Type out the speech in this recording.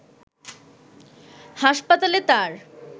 হাসপাতালে তার